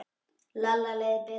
Lalla leið betur.